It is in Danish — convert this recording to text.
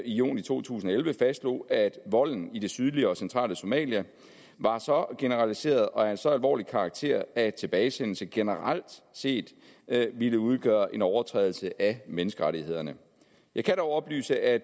juni to tusind og elleve fastslog at volden i det sydlige og centrale somalia var så generaliseret og af så alvorlig en karakter at tilbagesendelse generelt set ville udgøre en overtrædelse af menneskerettighederne jeg kan dog oplyse at